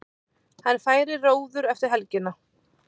Hann færi í róður eftir helgina